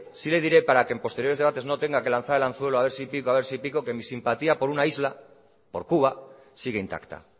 sí le diré para que en posteriores debates no tenga que lanzar el anzuelo a ver si pico que mi simpatía por una isla por cuba sigue intacta